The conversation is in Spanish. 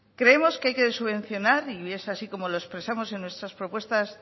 creemos que hay que subvencionar y es así como lo expresamos en nuestras propuestas